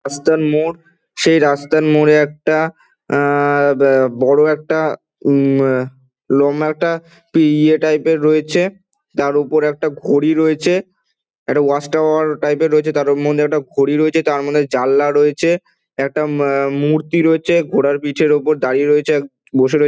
রাস্তারমোড় সেই রাস্তার মোড়ে একটা অ্যা- বড়ো একটা উম- লম্বা একটা ইয়া টাইপ -এর রয়েছে তার উপর একটা ঘড়ি রয়েছে একটা ওয়াচ টাওয়ার টাইপ - এর রয়েছে তার মধ্যে ঘড়ি রয়েছে তারমধ্যে একটা জানলা রয়েছে একটা মূর্তি রয়েছে ঘোড়ার পিটের উপর দাড়িয়ে রয়েছে বসে রয়ে--